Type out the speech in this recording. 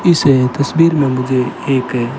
इसे तस्वीर में मुझे एक--